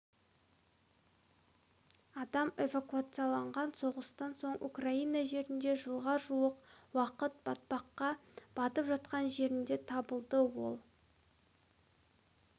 адам эвакуацияланған соғыстан соң украина жерінде жылға жуық уақыт батпаққа батып жатқан жерінен табылды ал